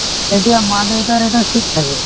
এতিয়া মা দেউতাৰ এটা seat থাকে ।